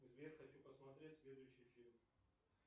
сбер хочу посмотреть следующий фильм